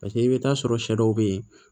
Paseke i bɛ taa sɔrɔ sɛ dɔw bɛ yen